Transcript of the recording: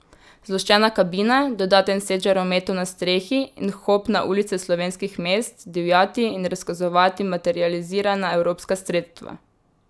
Zloščena kabina, dodaten set žarometov na strehi in hop na ulice slovenskih mest, divjati in razkazovati materializirana evropska sredstva.